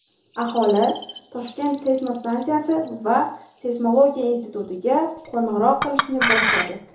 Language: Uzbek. Aholi ‘Toshkent’ seysmostansiyasi va Seysmologiya institutiga qo‘ng‘iroq qilishni boshladi.